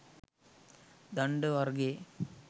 දණ්ඩ වර්ගයේ